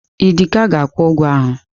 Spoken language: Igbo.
Idika ga-akwụ ụgwọ ahụ.